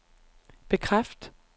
bekræft